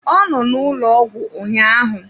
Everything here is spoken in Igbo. Ọ nọ n'ụlọ ọgwụ ụnyahụ.